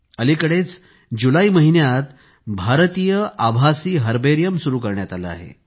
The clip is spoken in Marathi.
आता आता जुलै महिन्यात भारतीय आभासी हर्बेरियम सुरु करण्यात आलं आहे